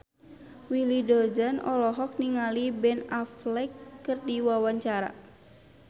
Willy Dozan olohok ningali Ben Affleck keur diwawancara